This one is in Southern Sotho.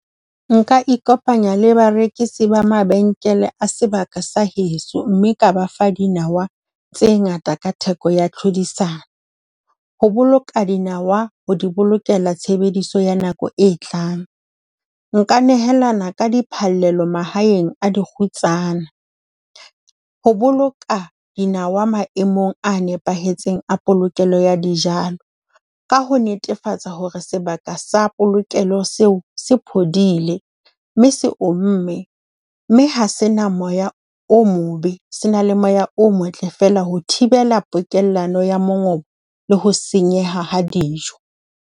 Nka ikopanya le barekisi ba mabenkele a sebaka sa heso, mme ka ba fa dinawa tse ngata ka theko ya tlhodisano. Ho boloka dinawa ho di bolokela tshebediso ya nako e tlang. Nka nehelana ka di phallelo mahaeng a dikgutsana. Ho boloka dinawa maemong a nepahetseng a polokelo ya dijalo, ka ho netefatsa hore sebaka sa pokelo seo se phodile. Mme se omme, mme ha se na moya o mobe, se na le moya o motle fela. Ho thibela pokello ya mongobo le ho senyeha ha dijo.